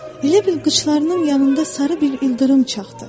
Elə bil qıçlarımın yanında sarı bir ildırım çaxdı.